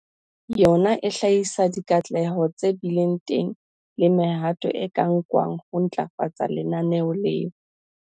Yona e hlahisa dikatleho tse bileng teng le mehato e ka nkwang ho ntlafatsa lenaneo leo.